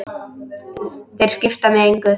Þeir skipta mig engu.